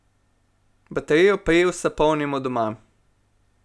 Baterijo priusa polnimo doma.